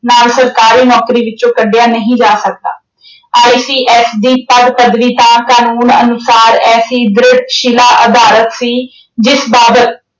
ਨਾਲ ਸਰਕਾਰੀ ਨੌਕਰੀ ਵਿੱਚੋਂ ਕੱਢਿਆ ਨਹੀਂ ਜਾ ਸਕਦਾ। ICS ਦੀ ਪਦ ਪਦਵੀ ਤਾਂ ਕਾਨੂੰਨ ਅਨੁਸਾਰ ਐਸੀ ਦ੍ਰਿੜ ਸ਼ਿਲ ਅਧਾਰਤ ਸੀ, ਜਿਸ ਬਾਬਤ